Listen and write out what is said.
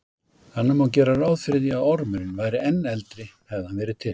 Þannig má gera ráð fyrir því að ormurinn væri enn eldri hefði hann verið til.